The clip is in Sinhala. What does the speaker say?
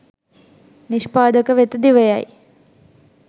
නිෂ්පාදක වෙත දිවයයි.